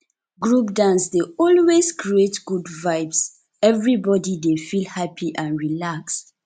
group dance dey always create good vibes everybody dey feel happy and relaxed